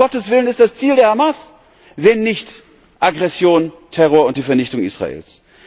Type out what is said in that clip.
Was, um Gottes Willen, ist das Ziel der Hamas, wenn nicht Aggression, Terror und die Vernichtung Israels?